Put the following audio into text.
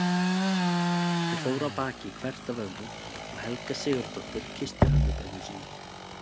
Þau fóru af baki hvert af öðru og Helga Sigurðardóttir kyssti ömmubörnin sín.